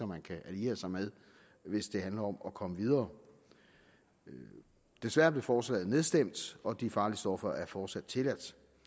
man kan alliere sig med hvis det handler om at komme videre desværre blev forslaget nedstemt og de farlige stoffer er fortsat tilladte